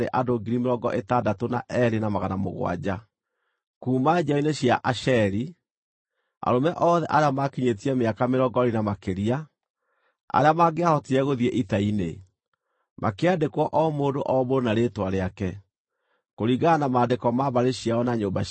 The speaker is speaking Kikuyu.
Kuuma njiaro-inĩ cia Asheri: Arũme othe arĩa maakinyĩtie mĩaka mĩrongo ĩĩrĩ na makĩria, arĩa mangĩahotire gũthiĩ ita-inĩ, makĩandĩkwo o mũndũ o mũndũ na rĩĩtwa rĩake, kũringana na maandĩko ma mbarĩ ciao na nyũmba ciao.